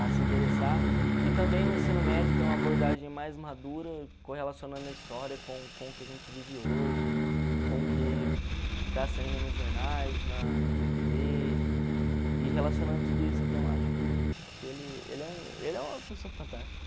a se interessar, e também no ensino médio tem uma abordagem mais madura, correlacionando a história com com o que a gente vive hoje, com o que está saindo nos jornais, na na tê vê, e relacionando tudo isso, então acho que que ele ele é um ele é uma pessoa fantástica.